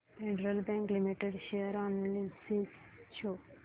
federal Bank Limited share analysis show कर